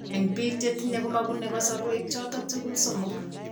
En biik chetinye komebune kasarwek choton tugul somok